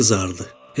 O qızardı.